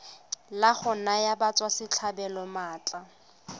la go naya batswasetlhabelo maatla